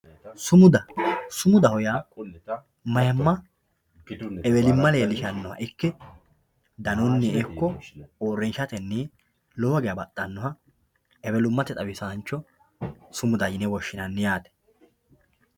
Sumuda, sumudaho yaa mayimmabewellimma leelishano ikke danunmi ikko uurinshatenni lowo geeya baxanoha ewelumatte xawisancho sumuda yine woshinanni yaate